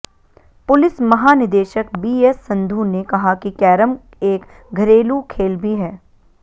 police महानिदेशक BS Sandhu ने कहा कि कैरम एक घरेलू खेल भी है